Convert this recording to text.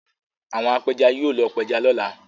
Àwọn apẹja yóò lọ pẹja lọ́la.